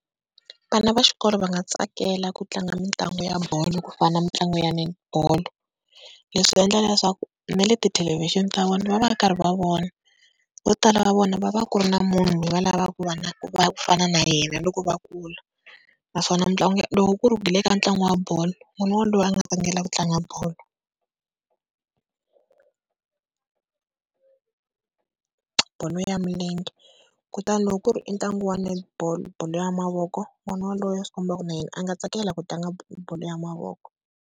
Vana va xikolo va nga tsakela ku tlanga mitlangu ya bolo ku fana mitlangu ya net bolo. Leswi endla leswaku na le tithelevhixini ta vona va va karhi va vona. Vo tala va vona va va ku ri na munhu loyi va lavaka ku ku fana na yena loko va kula, naswona mitlangu loko ku ri ku hi le ka ntlangu wa bolo n'wana waloye a nga tsakela ku tlanga bolo bolo ya milenge, kutani loko ku ri i ntlangu wa Netball, bolo ya mavoko n'wana waloye swi komba ku ri na yena a nga tsakela ku tlanga bolo ya mavoko.